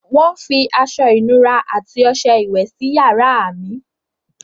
Wọ́n fi aṣọ-ìnura àti ọṣẹ iwẹ̀ sí yàrá mi.